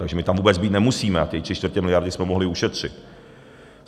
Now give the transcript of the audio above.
Takže my tam vůbec být nemusíme a tři čtvrtě miliardy jsme mohli ušetřit.